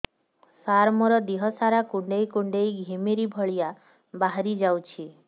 ସାର ମୋର ଦିହ ସାରା କୁଣ୍ଡେଇ କୁଣ୍ଡେଇ ଘିମିରି ଭଳିଆ ବାହାରି ଯାଉଛି